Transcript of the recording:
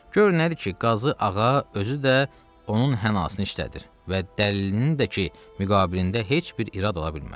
Gör nədir ki, qazı ağa özü də onun hənası işlədir və dəlilinin də ki müqabilində heç bir irad ola bilməz.